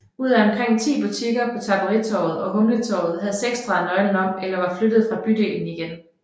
Ud af omkring ti butikker på Tapperitorvet og Humletorvet havde seks drejet nøglen om eller var flyttet fra bydelen igen